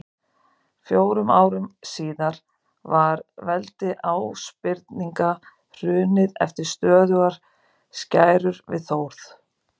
Fjórum árum síðar var veldi Ásbirninga hrunið eftir stöðugar skærur við Þórð.